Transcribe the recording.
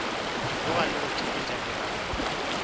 boga le go theeletša meragelo